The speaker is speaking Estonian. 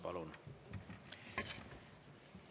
Palun!